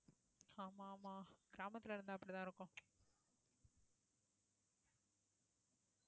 ஆமா ஆமா கிராமத்துல இருந்தா அப்படித்தான் இருக்கும்